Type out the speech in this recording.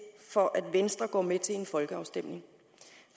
for at venstre går med til en folkeafstemning